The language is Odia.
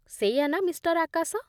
ସେଇଆ ନା, ମିଷ୍ଟର୍ ଆକାଶ?